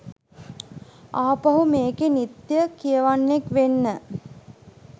ආපහු මේකේ නිත්‍ය කියවන්නෙක් වෙන්න.